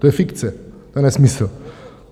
To je fikce, to je nesmysl.